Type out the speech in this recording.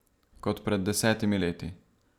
Kot pred desetimi leti.